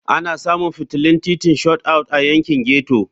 Ana samun fitilun titin Shot Out a yankin ghetto.